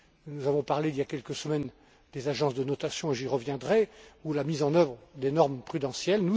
Nous avons parlé, il y a quelques semaines, des agences de notation j'y reviendrai ou la mise en œuvre des normes prudentielles.